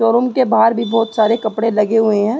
Showroom के बाहार भी बोहोत सारे कपडे लगे हुए हैं।